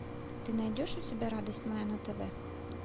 ты найдешь у себя радость моя на тв